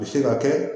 U bɛ se ka kɛ